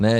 Ne.